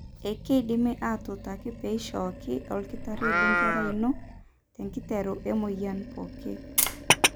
ekindimi aatuutaki peioshoki olkitari lenkerai ino tenkiteru emuoyian pooki.